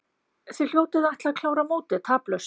Þið hljótið að ætla að klára mótið taplaust?